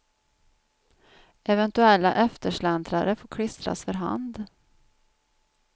Eventuella eftersläntrare får klistras för hand.